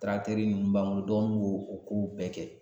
ninnu b'an bolo dɔgɔninw b'o o o kow bɛɛ kɛ